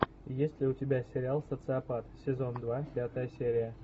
есть ли у тебя сериал социопат сезон два пятая серия